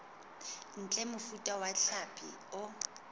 ntle mofuta wa hlapi o